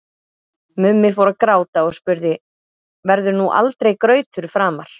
Mummi fór að gráta og spurði: Verður nú aldrei grautur framar?